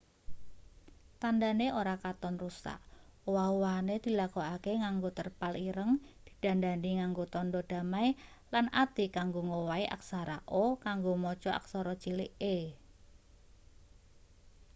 tandhane ora katon rusak owah-owahane dilakokake nganggo terpal ireng didandani nganggo tandha damai lan ati kanggo ngowahi aksara o kanggo maca aksara cilik e